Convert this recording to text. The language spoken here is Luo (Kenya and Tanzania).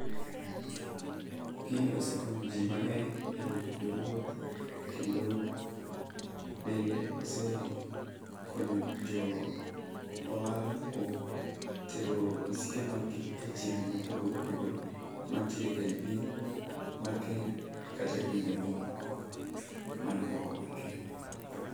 Gini osekonyo jii mang'eny e yor wuoth kendo bende osekonyo jo ohala kuom tero misike mag gi e chirni mopogore opogore mantiere eiyi piny mar kenya kata e pinje mamoko mani oko mar kenya.